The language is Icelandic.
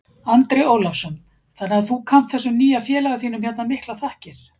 Andri Ólafsson: Þannig að þú kannt þessum nýja félaga þínum hérna miklar þakkir?